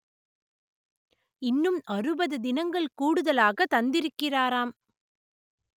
இன்னும் அறுபது தினங்கள் கூடுதலாக தந்திருக்கிறாராம்